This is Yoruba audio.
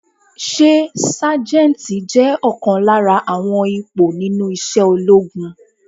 Ṣé Sájẹ́ntì je ọ̀kan lára àwọn ipò nínú isẹ́ ológun?